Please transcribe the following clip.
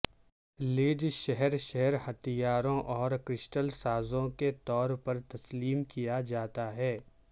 لیج شہر شہر ہتھیاروں اور کرسٹل سازوں کے طور پر تسلیم کیا جاتا ہے